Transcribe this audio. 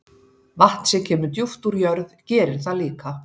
Vatn sem kemur djúpt úr jörð gerir það líka.